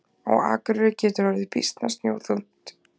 Á Akureyri getur orðið býsna snjóþungt.